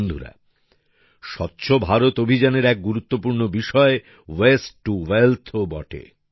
বন্ধুরা স্বচ্ছ ভারত অভিযানের এক গুরুত্বপূর্ণ বিষয় ওয়েস্ট টু ওয়েলথ ও বটে